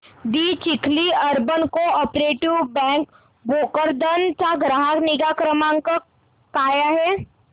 दि Chikhli urban cooperative bank Bhokardan चा ग्राहक निगा क्रमांक काय आहे